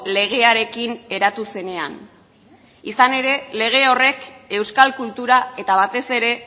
legearekin eratu zenean izan ere lege horrek euskal kultura eta batez ere